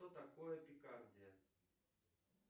что такое пикардия